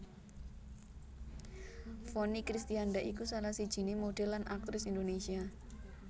Vonny Kristianda iku salah sijiné modhèl lan aktris Indonésia